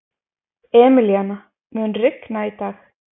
Emilíana, mun rigna í dag?